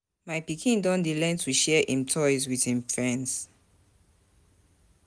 My pikin don dey learn to share im toys wit im friends.